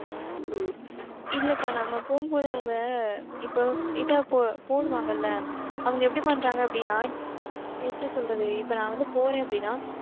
இல்லக்கா, நம்ம போகும்போது அவங்க, இப்போ இதை போடுவாங்கள்ல அவங்க எப்படி பண்றாங்க அப்படின்னா எப்படி சொல்றது? இப்ப நான் வந்து, போறேன் அப்படின்னா,